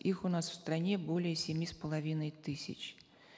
их у нас в стране более семи с половиной тысяч